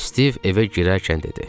Stiv evə girərkən dedi.